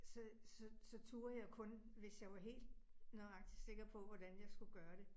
Så så så turde jeg kun, hvis jeg var helt nøjagtigt sikker på, hvordan jeg skulle gøre det